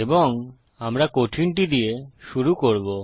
এবং আমরা কঠিনটি দিয়ে শুরু করবো